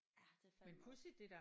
Ja det er fandeme også